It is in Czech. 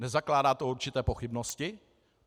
Nezakládá to určité pochybnosti?